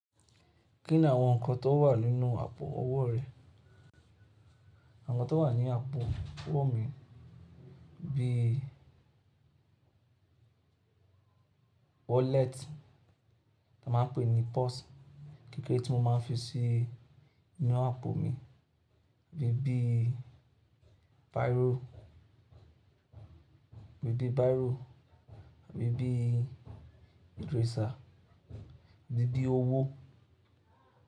Kí ni àwọn nǹkan tó wà nínú àpò owó rẹ? Àwọn nǹkan tó wà ní àpò owó mi bí i wallet, tí a máa ń pè ní purse. Kékéré tí mo máa ń fi sí inú àpò mi bí i báíro, bí i báírò, àbí bí i eraser, àbí bí owó.